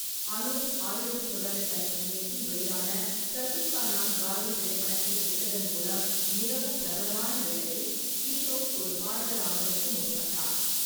அனூப் ஆயிரத்து தொள்ளாயிரத்தி ஐம்பத்தி எட்டில் வெளியான சல்தீ கா நாம் காடி திரைப்படத்தில் நடித்ததன் மூலம் மிகவும் பிரபலமான வேளையில், கிஷோர் ஒரு பாடகர் ஆவதற்கு முற்பட்டார்.